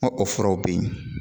N ka o furaw bɛ yen